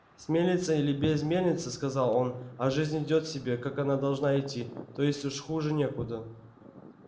с мельницей или без мельницы сказал он а жизнь идёт себе как она должна идти то есть уж хуже некуда